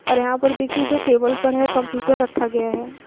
और यहाँ पर देखिए जो टेबल पर है कंप्यूटर रखा गया है।